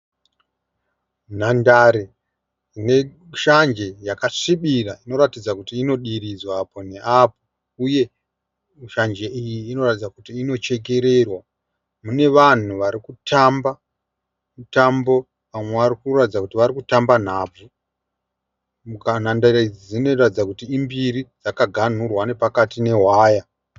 Nhandare neshanje yakasvibira inoratidza kuti inodiridzwa apo neapo, Uye shanje iyi inoratidza kuti inochekererwa. Mune vanhu varikutamba mutambo vamwe varikuratidza kuti varikutamba nhabvu. Nhandare idzi dzinoratidza kuti imbiri dzakaganhurwa nehwaya.